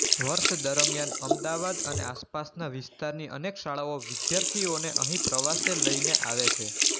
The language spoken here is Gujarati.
વર્ષ દરમ્યાન અમદાવાદ અને આસપાસનાં વિસ્તારની અનેક શાળાઓ વિદ્યાર્થીઓને અહીં પ્રવાસે લઇને આવે છે